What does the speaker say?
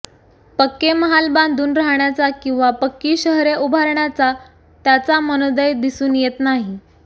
पक्के महाल बांधून राहण्याचा किंवा पक्की शहरे उभारण्याचा त्याचा मनोदय दिसून येत नाही